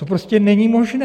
To prostě není možné.